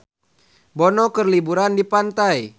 Bono keur liburan di pantai